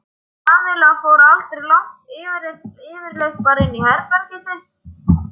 Kamilla fór aldrei langt yfirleitt bara inn í herbergið sitt.